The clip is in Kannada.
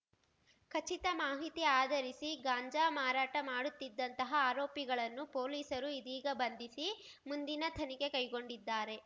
ಖಚಿತ ಮಾಹಿತಿ ಆಧರಿಸಿ ಗಾಂಜಾ ಮಾರಾಟ ಮಾಡುತ್ತಿದ್ದಂತಹ ಆರೋಪಿಗಳನ್ನು ಪೊಲೀಸರು ಇದೀಗ ಬಂಧಿಸಿ ಮುಂದಿನ ತನಿಖೆ ಕೈಗೊಂಡಿದ್ದಾರೆ